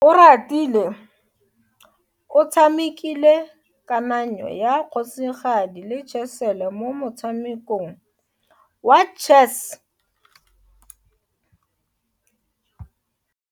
Oratile o tshamekile kananyo ya kgosigadi le khasele mo motshamekong wa chess.